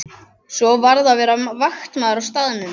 Svo varð að vera vaktmaður á staðnum.